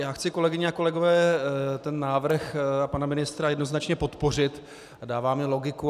Já chci, kolegyně a kolegové, ten návrh pana ministra jednoznačně podpořit, dává mi logiku.